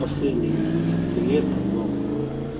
последние уже несколько лет там много лет